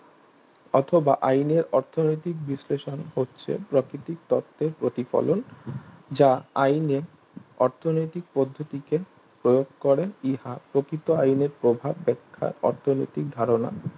অথবা আইনের অর্থনৈতিক বিশ্লেষণ করছে প্রাকৃতিক তত্ত্বের প্রতিফলন যা আইনে অর্থনৈতিক পদ্ধতিতে প্রয়োগ করে ইহা প্রকৃত আইনের প্রভাব বেক্ষা অর্থনৈতিক ধারণা